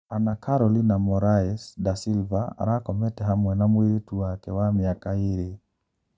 Ana Carolina Moraes da Silva arakomete hamwe na mũiritu wake wa miaka iri.